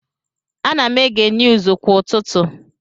Ana m ege niuuzu kwa ụtụtụ.